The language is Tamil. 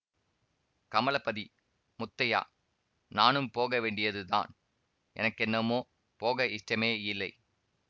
கமலபதி முத்தையா நானும் போக வேண்டியது தான் எனக்கென்னமோ போக இஷ்டமேயில்லை